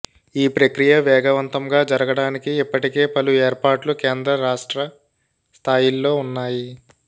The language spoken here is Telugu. ఈ ప్రక్రియ వేగవంతంగా జరగడానికి ఇప్పటికే పలు ఏర్పాట్లు కేంద్ర రాష్ట్ర స్థాయిల్లో ఉన్నాయి